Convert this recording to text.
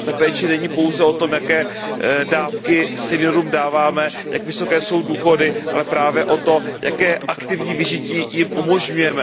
A ta péče není pouze o tom, jaké dávky seniorům dáváme, jak vysoké jsou důchody, ale právě o tom, jaké aktivní vyžití jim umožňujeme.